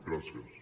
gràcies